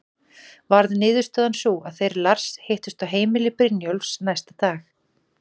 Varð niðurstaðan sú að þeir Lars hittust á heimili Brynjólfs næsta dag.